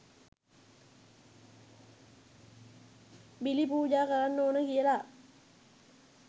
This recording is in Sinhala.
බිලි පූජා කරන්න ඕන කියලා